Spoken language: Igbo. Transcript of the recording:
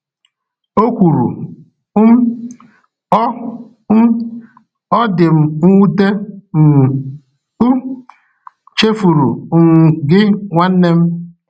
O kwuru, um “Ọ um “Ọ dị m nwute, m um chefuru um gị, nwanne m.”